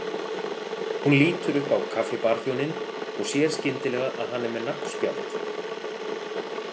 Hún lítur upp á kaffibarþjóninn og sér skyndilega að hann er með nafnspjald.